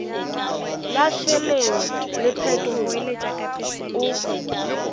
la šeleng le phetolo o